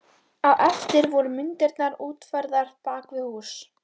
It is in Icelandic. Á eftir voru myndirnar útfærðar bak við hús.